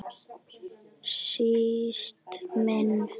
Síst minni.